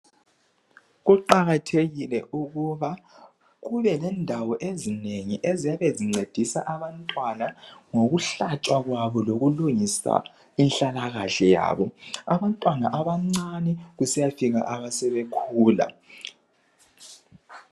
Kuqakathekile ukuba kube lendawo ezinengi eziyabe zincedisa abantwana ngokuhlatshwa kwabo lokulungisa inhlalakahle yabo, abantwana abancane kusiyafika asebekhula.